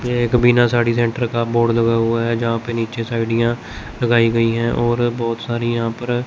यह एक बिना साड़ी सेंटर का बोर्ड लगा हुआ है जहा पे नीचे साईडीया लगायी गयी है और बहोत सारी यहा पर--